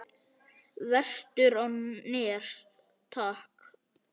Vestur á Nes, takk!